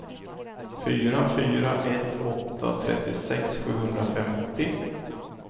fyra fyra ett åtta trettiosex sjuhundrafemtio